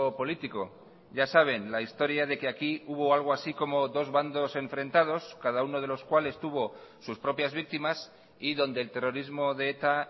político ya saben la historia de que aquí hubo algo así como dos bandos enfrentados cada uno de los cuales tuvo sus propias víctimas y donde el terrorismo de eta